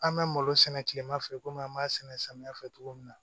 An bɛ malo sɛnɛ tilema fɛ komi an b'a sɛnɛ samiya fɛ cogo min na